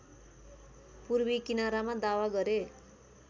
पूर्वी किनारामा दावा गरे